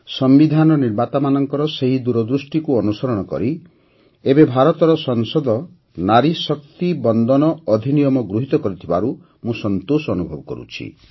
ସମ୍ବିଧାନ ନିର୍ମାତାମାନଙ୍କ ସେହି ଦୂରଦୃଷ୍ଟିକୁ ଅନୁସରଣ କରି ଏବେ ଭାରତର ସଂସଦ ନାରୀ ଶକ୍ତି ବନ୍ଦନ ଅଧିନିୟମ ଗୃହୀତ କରିଥିବାରୁ ମୁଁ ସନ୍ତୋଷ ଅନୁଭବ କରୁଛି